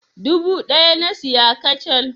Dubu ɗaya na saya kacal.